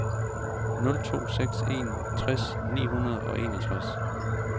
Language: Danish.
nul to seks en tres ni hundrede og enogtres